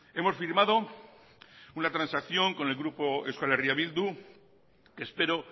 hemos firmado una transacción con el grupo eh bildu que espero